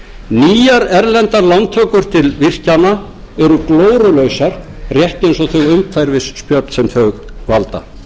nýjar erlendar lántökur til virkjana eru glórulausar rétt eins og þau umhverfisspjöll sem þau valda